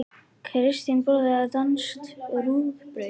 Kristín borðar danskt rúgbrauð.